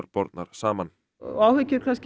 bornar saman áhyggjur